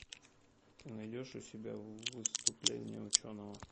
ты найдешь у себя выступление ученого